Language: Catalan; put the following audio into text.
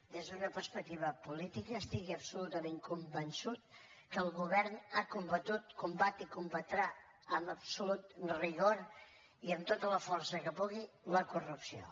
des d’una perspectiva política estigui absolutament convençut que el govern ha combatut combat i combatrà amb absolut rigor i amb tota la força que pugui la corrupció